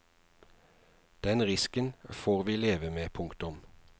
Den risken får vi leve med. punktum